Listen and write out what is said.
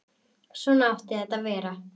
Svona átti þetta að vera.